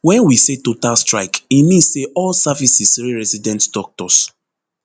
wen we say total strike e mean say all services wey resident doctors